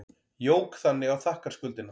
Jók þannig á þakkarskuldina.